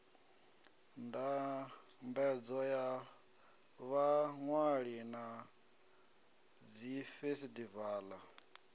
ndambedzo ya vhaṅwali na dzifesitivala